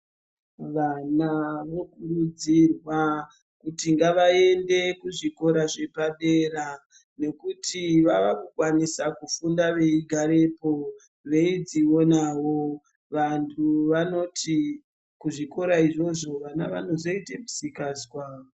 Vana vokurudzirwa kuti ngavaende kuzvikora zvepadera, nekuti vaakukwanisa kufunda veigarepo veidzionawo. Vanhu vanoti kuzvikora izvozvo vana vanozoite misikazwa.